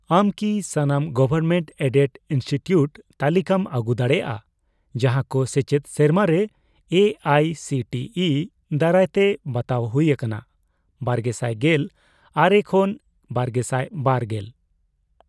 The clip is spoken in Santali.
ᱟᱢ ᱠᱤ ᱥᱟᱱᱟᱢ ᱜᱚᱵᱷᱢᱮᱱᱴᱼᱮᱰᱮᱰ ᱤᱱᱥᱴᱤᱴᱤᱭᱩᱴ ᱛᱟᱞᱤᱠᱟᱢ ᱟᱹᱜᱩ ᱫᱟᱲᱮᱭᱟᱜᱼᱟ ᱡᱟᱦᱟᱸ ᱠᱚ ᱥᱮᱪᱮᱫ ᱥᱮᱨᱢᱟᱨᱮ A I C T E ᱫᱟᱨᱟᱭᱛᱮ ᱵᱟᱛᱟᱣ ᱦᱩᱭ ᱟᱠᱟᱱᱟ ᱵᱟᱨᱜᱮᱥᱟᱭ ᱜᱮᱞ ᱟᱨᱮ ᱠᱷᱚᱱ ᱵᱟᱨᱜᱮᱥᱟᱭ ᱵᱟᱨ ᱜᱮᱞ ?